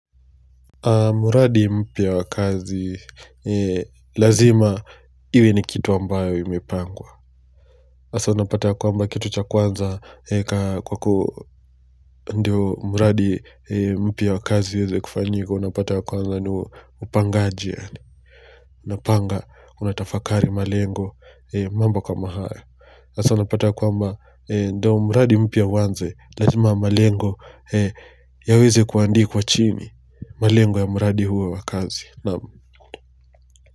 Muradi mpya wa kazi lazima iwe ni kitu ambayo iwe imepangwa. Hasa na pata kwamba kitu cha kwanza eka kwa ku ndio muradi mpya wakazi uweze kufanyika na pata kwa kuwanza nupangaji. Napanga, una tafakari malengo mambo kama hayp hasa napata ya kwamba ndio muradi mpya uwanze, lazima malengo yaweze kuandikwa chimi, malengo ya muradi huwa wa kazi.